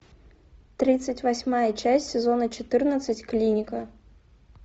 тридцать восьмая часть сезона четырнадцать клиника